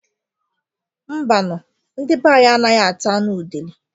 Mbanu, ndi banyi anaghị ata anụ udele